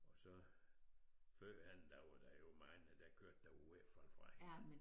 Og så førhen der var der jo mange der kørte der var ved at falde fra hinanden